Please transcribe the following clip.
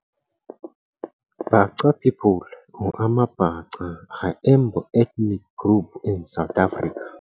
Bhaca people or amaBhaca are eMbo ethnic group in South Africa.